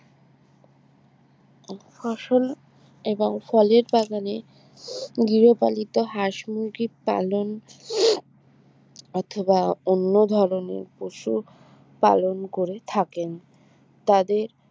ফসল এবং ফলের বাগানে গৃহপালিত হাঁস মুরগি পালন অথবা অন্য ধরনের পশু পালন করে থাকেন তাদের